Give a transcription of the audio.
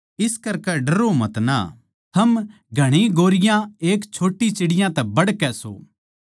इस करकै डरो मतना थम घणी गौरैयाँ एक छोट्टी चिड़ियाँ तै बढ़कै सो